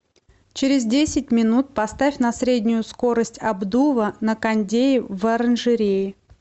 через десять минут поставь на среднюю скорость обдува на кондее в оранжерее